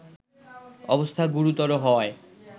অবস্থা গুরুতর হওয়ায়